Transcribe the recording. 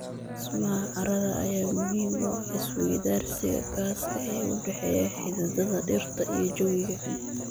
Dhismaha carrada ayaa muhiim u ah is-weydaarsiga gaaska ee u dhexeeya xididada dhirta iyo jawiga.